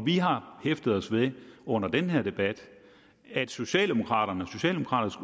vi har hæftet os ved under den her debat at socialdemokraterne